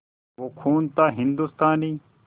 वो खून था हिंदुस्तानी